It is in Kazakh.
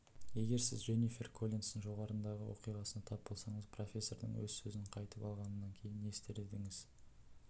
егер сіз дженнифер коллинстің жоғарыдағы оқиғасына тап болсаңыз профессордың өз сөзін қайтып алғанынан кейін не істер едіңіз